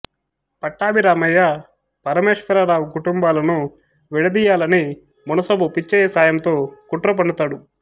పట్టాభిరామయ్య పరమేశ్వరరావు కుటుంబాలను విడదీయాలని మునసబు పిచ్చయ్య సాయంతో కుట్రపన్నుతాడు